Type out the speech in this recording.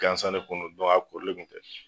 Gansan de kun don a koorilen tun tɛ.